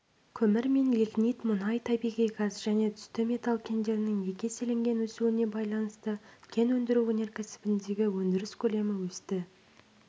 көмір мен лигнит мұнай табиғи газ және түсті металл кендерінің екі еселенген өсуіне байланысты кен өндіру өнеркәсібіндегі өндіріс көлемі өсті